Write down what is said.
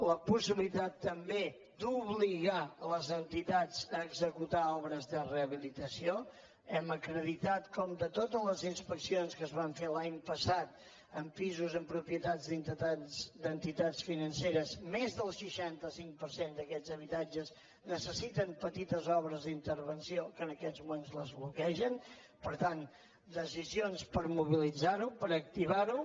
la possibilitat també d’obligar les entitats a executar obres de rehabilitació hem acreditat com de totes les inspeccions que es van fer l’any passat en pisos en propietats d’entitats financeres més del seixanta cinc per cent d’aquests habitatges necessiten petites obres d’intervenció que en aquests moments les bloquegen per tant decisions per mobilitzar ho per activar ho